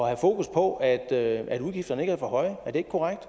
have fokus på at at udgifterne ikke er for høje er det ikke korrekt